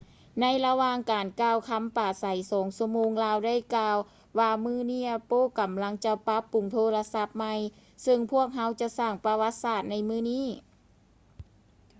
ໃນລະຫວ່າງການກ່າວຄຳປາໄສ 2 ຊົ່ວໂມງ ລາວໄດ້ກ່າວວ່າ ມື້ນີ້ apple ກຳລັງຈະປັບປຸງໂທລະສັບໃໝ່ ເຊິ່ງພວກເຮົາຈະສ້າງປະຫວັດສາດໃນມື້ນີ້